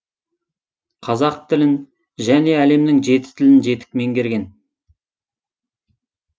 қазақ тілін және әлемнің жеті тілін жетік меңгерген